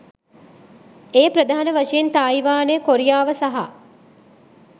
එය ප්‍රධාන වශයෙන් තායිවානය, කොරියාව සහ